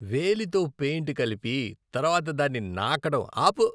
వేలితో పెయింట్ కలిపి, తర్వాత దాన్ని నాకడం ఆపు.